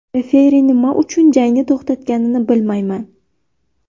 Referi nima uchun jangni to‘xtatganini bilmayman.